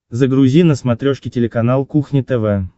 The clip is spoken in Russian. загрузи на смотрешке телеканал кухня тв